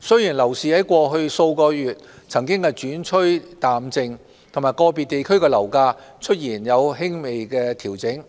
雖然樓市在過去數月曾轉趨淡靜及個別地區的樓價出現輕微調整，